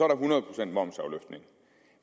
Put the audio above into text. der hundrede procent momsafløftning